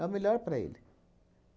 É o melhor para ele.